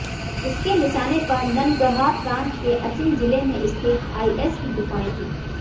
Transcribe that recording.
उसके निशाने पर ननगहार प्रांत के अचिन जिले में स्थित आईएस की गुफाएं थीं